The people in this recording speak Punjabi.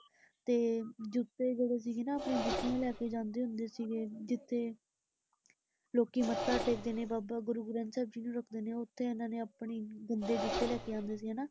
ਤੇ ਜੁੱਤੇ ਜਿਹੜੇ ਸੀਗੇ ਨਾ ਆਪਣੇ ਜੁੱਤੀਆਂ ਲੈ ਕੇ ਜਾਂਦੇ ਹੁੰਦੇ ਸੀਗੇ, ਜਿਥੇ ਲੋਕੀਂ ਮੱਥਾ ਟੇਕਦੇ ਨੇ ਬਾਬਾ ਗੁਰੂ ਗਰੰਥ ਸਾਹਿਬ ਜੀ ਨੂੰ ਰੱਖਦੇ ਨੇ, ਉੱਥੇ ਇਹਨਾਂ ਨੇ ਆਪਣੇ ਗੰਦੇ ਜੁੱਤੇ ਲੈ ਕੇ ਆਉਂਦੇ ਸੀ ਐ ਹਨਾ,